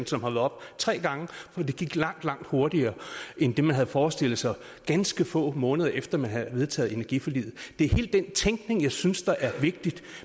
som har været oppe tre gange hvor det gik langt langt hurtigere end det man havde forestillet sig ganske få måneder efter at man havde vedtaget energiforliget det er hele den tænkning jeg synes er vigtig